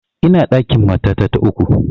Ina ɗakin matata ta uku